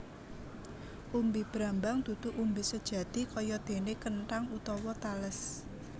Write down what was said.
Umbi brambang dudu umbi sejati kayadéné kenthang utawa tales